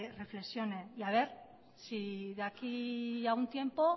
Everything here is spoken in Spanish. reflexione y a ver si de aquí a un tiempo